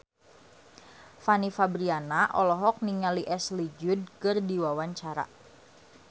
Fanny Fabriana olohok ningali Ashley Judd keur diwawancara